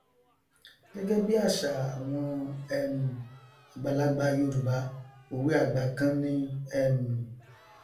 gẹgẹ bí àṣà àwọn um àgbàlagbà yorùbá òwe àgbà kan ni um